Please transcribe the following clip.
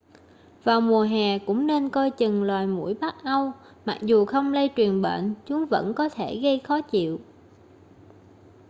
vào mùa hè cũng nên coi chừng loài muỗi bắc âu mặc dù không lây truyền bệnh chúng vẫn có thể gây khó chịu